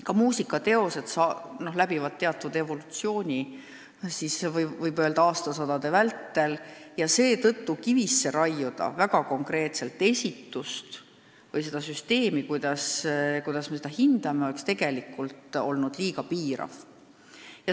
Ka muusikateosed läbivad teatud evolutsiooni, võib öelda, aastasadade vältel, seetõttu raiuda väga konkreetselt kivisse esitust või seda süsteemi, kuidas me seda hindame, oleks liiga piirav.